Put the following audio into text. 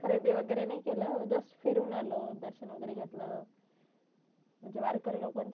खरेदी वगरे नाही केल just फिरून आलो दर्शन वगरे घेतलं म्हणजे वारकरी लोक